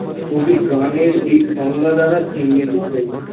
কবি গানের এই সংজ্ঞা দ্বারা চিহ্নিত হয়েছেন